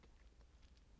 DR K